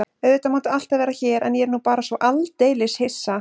Auðvitað máttu alltaf vera hér en ég er nú bara svo aldeilis hissa.